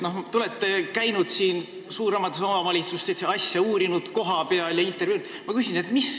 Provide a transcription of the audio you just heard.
Te olete käinud suuremates omavalitsustes, olete seda asja uurinud kohapeal ja on olnud intervjuud.